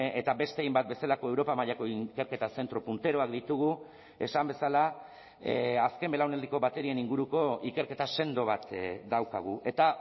eta beste hainbat bezalako europa mailako ikerketa zentro punteroak ditugu esan bezala azken belaunaldiko baterien inguruko ikerketa sendo bat daukagu eta